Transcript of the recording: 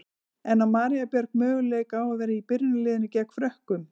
En á María Björg möguleika á að vera í byrjunarliðinu gegn Frökkum?